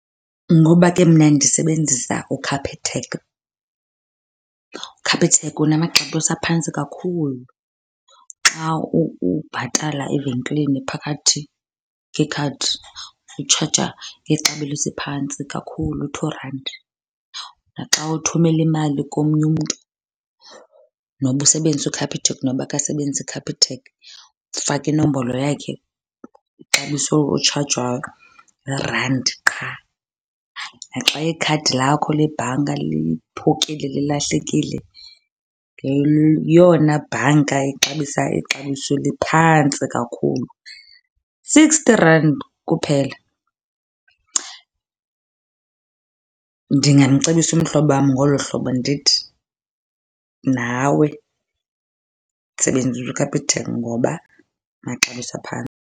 Ngoba ke mna ndisebenzisa uCapitec. UCapitec unamaxabiso aphantsi kakhulu. Xa ubhatala evenkileni phakathi ngekhadi utshaja ngexabiso eliphantsi kakhulu, two randi. Naxa uthumela imali komnye umntu noba usebenzisa uCapitec noba akasebenzisi Capitec, ufaka inombolo yakhe, ixabiso otshajwayo yirandi qha. Naxa ikhadi lakho lebhanka liphukile, lilahlekile, ngeyona bhanka ixabisa ixabiso eliphantsi kakhulu, sixty rand kuphela. Ndingamcebisa umhlobo wam ngolo hlobo ndithi nawe sebenzisa uCapitec ngoba amaxabiso .